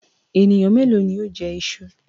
Ènìyàn méèló ni ó jẹ iṣu?